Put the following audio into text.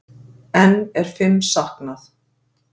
Enn er fimm saknað